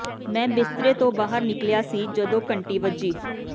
ਮੈਂ ਬਿਸਤਰੇ ਤੋਂ ਬਾਹਰ ਨਿਕਲਿਆ ਸੀ ਜਦੋਂ ਘੰਟੀ ਵੱਜੀ